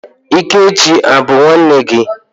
Ikechi a bụ nwanne gị?